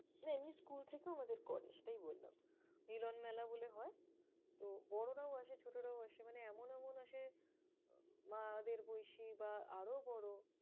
না এমনি school থেকেও আমাদের করে, সেটাই বললাম। মিলনমেলা বলে হয় তো বড়রাও আসে, ছোটরাও আসে, মানে এমন এমন আসে মা'দের বয়সী বা আরও বড়।